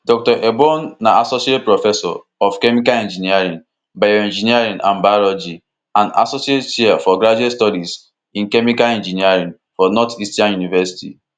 dr ebong na associate professor of chemical engineering bioengineering and biology and associate chair for graduate studies in chemical engineering for northeastern university